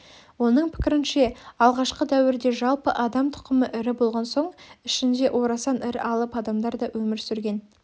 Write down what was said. оның пікірінше алғашқы дәуірде жалпы адам тұқымы ірі болған соң ішінде орасан ірі алып адамдар да өмір сүрген